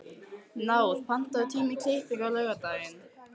Náð, pantaðu tíma í klippingu á laugardaginn.